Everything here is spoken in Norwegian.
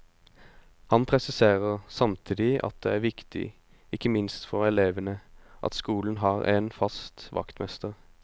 Han presiserer samtidig at det er viktig, ikke minst for elevene, at skolene har en fast vaktmester.